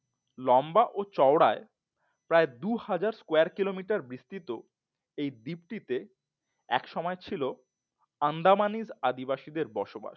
লম্বা ও চওড়ায় প্রায় দুহাজার square Kilometer বিস্তৃত এই দীপ্তিতে এক সময় ছিল Andamanese আদিবাসীদের বসবাস